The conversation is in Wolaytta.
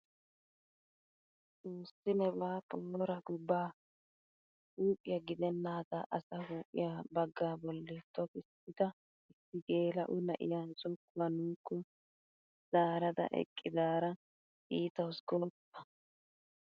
Xoossi nebaa poora go! ba huuphphiyaa gidennaagaa asa huuphphiyaa baaga bolli tokissida issi geela'o na'iyaa zokkuwaa nuukko zaarada eqqidaara iitawus gooppa!